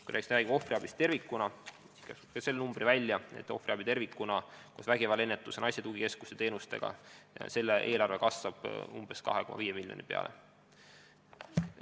Kui rääkida ohvriabist tervikuna, siis ütlen ka selle numbri välja: ohvriabi tervikuna koos vägivallaennetuse, naiste tugikeskuse teenustega saab umbes 2,5 miljonit eurot.